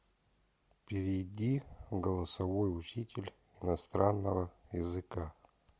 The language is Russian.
перейди в голосовой учитель иностранного языка